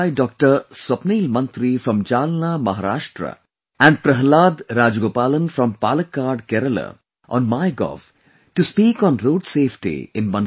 Swapnil Mantri from Jalna, Maharashtra and Prahlad Rajgopalan from Palakkad, Kerala on MyGov to speak on 'Road safety' in Mann Ki Baat